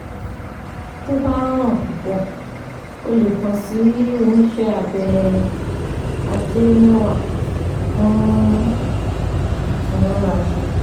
Tó bá hàn púpọ̀, o lè kàn sí oníṣẹ́ abẹ ajẹmẹ́wà fún ìtúnraṣé